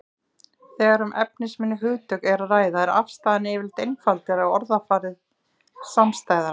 Þegar um efnisminni hugtök er að ræða er afstaðan yfirleitt einfaldari og orðafarið samstæðara.